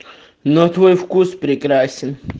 но твой вкус прекрасен